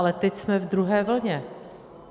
Ale teď jsme v druhé vlně.